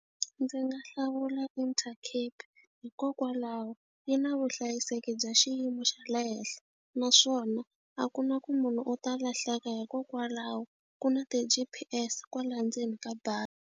Ndzi nga hlawula Intercape hikokwalaho yi na vuhlayiseki bya xiyimo xa le henhla naswona a ku na ku munhu u ta lahleka hikokwalaho ku na ti-G_P_S kwala ndzeni ka bazi.